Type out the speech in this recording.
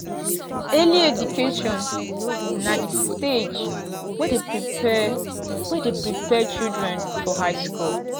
early education na di stage wey de prepare wey de prepare children for high school